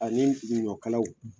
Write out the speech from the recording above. Ani ɲɔkalaw.